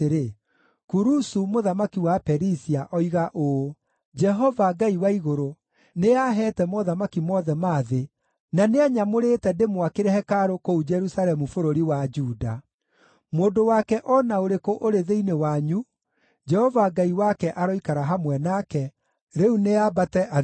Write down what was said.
“Kurusu, mũthamaki wa Perisia, oiga ũũ, “ ‘Jehova, Ngai wa igũrũ, nĩaheete mothamaki mothe ma thĩ, na nĩanyamũrĩte ndĩmwakĩre hekarũ kũu Jerusalemu bũrũri wa Juda. Mũndũ wake o na ũrĩkũ ũrĩ thĩinĩ wanyu, Jehova Ngai wake aroikara hamwe nake, rĩu no aambate athiĩ kuo.’ ”